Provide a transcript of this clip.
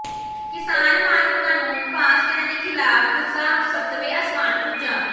ਕਿਸਾਨ ਮਾਰੂ ਕਾਨੂੰਨ ਪਾਸ ਕਰਨ ਦੇ ਖਿਲਾਫ਼ ਗੁੱਸਾ ਸੱਤਵੇ ਆਸਮਾਨ ਪੁੱਜਾ